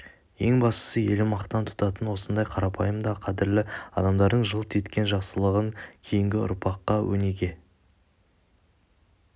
ең бастысы елі мақтан тұтатын осындай қарапайым да қадірлі адамдардың жылт еткен жақсылығын кейінгі ұрпаққа өнеге